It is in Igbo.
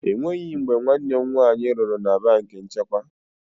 Enweghị mgbe nwanne m nwaanyị rụrụ na banki nchekwa.